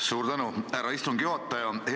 Suur tänu, härra istungi juhataja!